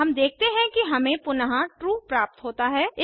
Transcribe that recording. हम देखते हैं कि हमें पुनः ट्रू प्राप्त होता है